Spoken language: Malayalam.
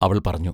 അവൾ പറഞ്ഞു.